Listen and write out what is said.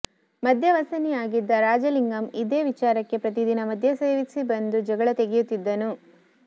ಮದ್ಯ ವ್ಯಸನಿಯಾಗಿದ್ದ ರಾಜಲಿಂಗಂ ಇದೇ ವಿಚಾರಕ್ಕೆ ಪ್ರತಿದಿನ ಮದ್ಯ ಸೇವಿಸಿ ಬಂದು ಜಗಳತೆಗೆಯುತ್ತಿದ್ದನು